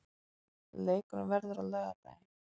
Leikurinn verður á laugardaginn.